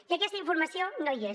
i aquesta informació no hi és